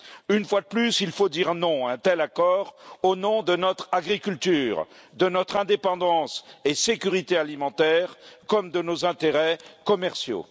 Une fois de plus, il faut dire non à un tel accord au nom de notre agriculture, de notre indépendance et de notre sécurité alimentaire, comme de nos intérêts commerciaux.